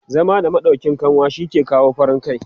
zama da maɗauƙin kanwa shi ke sa farin kai